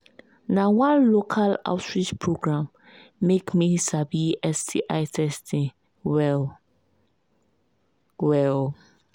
na one local outreach program make me sabi sti testing well well